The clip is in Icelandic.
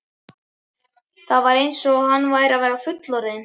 Það var eins og hann væri að verða fullorðinn.